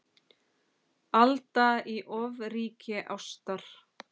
Alda í ofríki ástar.